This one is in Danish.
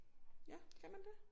Ja kan man det?